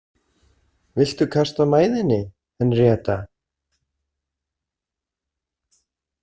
Viltu kasta mæðinni, Henríetta?